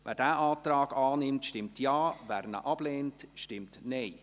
Wer diesen Antrag annimmt, stimmt Ja, wer ihn ablehnt, stimmt Nein.